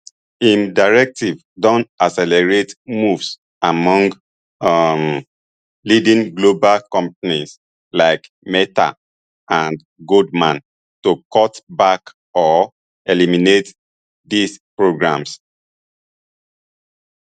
im directive don accelerate moves among um leading global companies like meta and goldman to cut back or eliminate these programmes